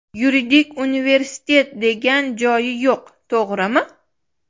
Yuridik universitet degan joyi yo‘q, to‘g‘rimi?